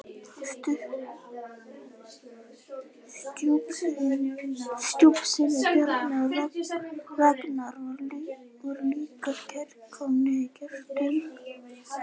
Stjúpsynirnir Bjarni og Ragnar voru líka kærkomnir gestir.